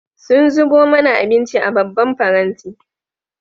Sun zubo mana abinci a babban faranti.